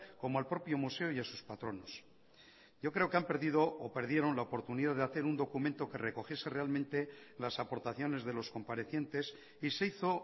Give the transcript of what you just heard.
como al propio museo y a sus patronos yo creo que han perdido o perdieron la oportunidad de hacer un documento que recogiese realmente las aportaciones de los comparecientes y se hizo